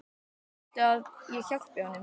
Viltu að ég hjálpi honum?